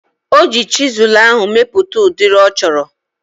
Oji chisụl ahu mepụta udiri ọ chọrọ